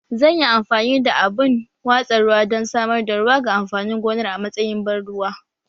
Zan yi amfani da abun watsa ruwa don samar da ruwa ga amfanin gonar a matsayin ban ruwa